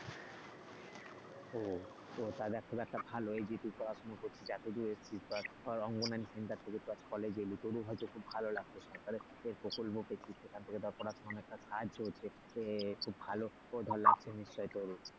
ও তাহলে খুব একটা ভালই এই যে তুই পড়াশোনা করছিস এতদূর এসেছিস অঙ্গনারী center থেকে college এলি তোরও হয়তো খুব ভালো লাগছে সেখান থেকে পড়ার অনেকটা সাহায্য হচ্ছে। খুব ভালো লাগছে তো নিশ্চয়ই তোর,